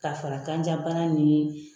Ka fara kanjabana nin